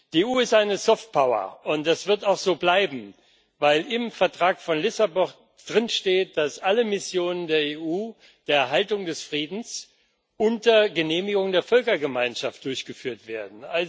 Die EU ist eine Soft Power, und das wird auch so bleiben, weil im Vertrag von Lissabon steht, dass alle Missionen der EU zur Erhaltung des Friedens unter Genehmigung der Völkergemeinschaft durchgeführt werden.